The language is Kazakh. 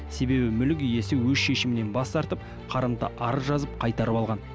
себебі мүлік иесі өз шешімінен бас тартып қарымта арыз жазып қайтарып алған